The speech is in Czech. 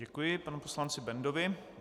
Děkuji panu poslanci Bendovi.